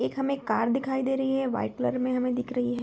एक हमें एक कार दिखाई दे रही है व्हाइट कलर में हमें दिख रही है।